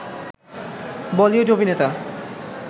বলিউড অভিনেতা